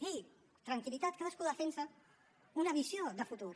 ei tranquil·litat cadascú defensa una visió de futur